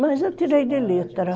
Mas eu tirei de letra.